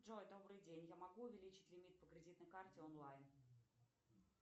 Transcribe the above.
джой добрый день я могу увеличить лимит по кредитной карте онлайн